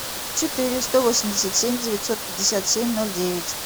четыре сто восемьдесят семь девятьсот пятьдесят семь ноль девять